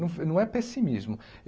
Não, não é pessimismo.